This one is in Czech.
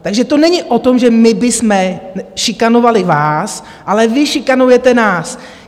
Takže to není o tom, že my bychom šikanovali vás, ale vy šikanujete nás.